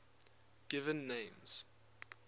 given names